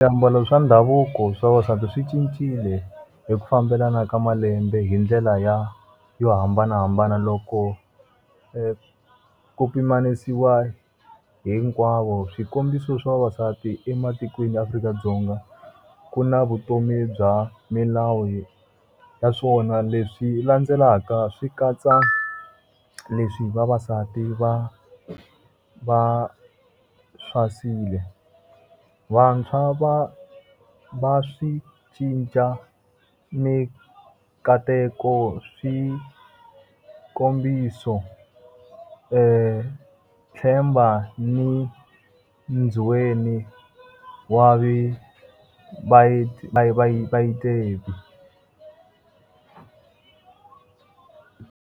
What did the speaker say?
Swiambalo swa ndhavuko swa vavasati swi cincile hi ku fambelana ka malembe hi ndlela ya yo hambanahambana loko ku pimanisiwe hinkwavo. Swikombiso swa vavasati ematikweni ya Afrika-Dzonga, ku na vutomi bya milawu ya swona leswi landzelaka swi katsa leswi vavasati va va . Vantshwa va va swi cinca minkateko swikombiso, .